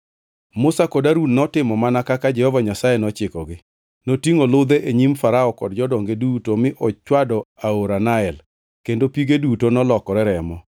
Musa kod Harun notimo mana kaka Jehova Nyasaye nochikogi. Notingʼo ludhe e nyim Farao kod jodonge duto mi ochwado aora Nael kendo pige duto nolokore remo.